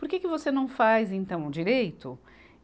Por que que você não faz, então, direito?